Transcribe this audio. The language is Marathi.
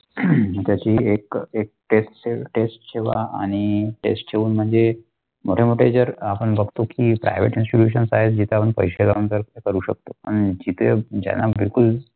त्याची एक एक test test जेव्हा आणि set ठेऊन म्णजे मोठे मोठे जर आपण बगतो की Private Institute जी आपण पैसे घालून आपण ते करू शकतो आणि जिथे ज्यांना बिलकुल.